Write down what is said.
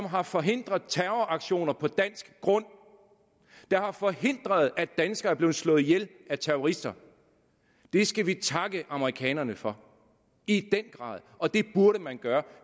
har forhindret terroraktioner på dansk grund det har forhindret at danskere er blevet slået ihjel af terrorister det skal vi takke amerikanerne for i den grad og det burde man gøre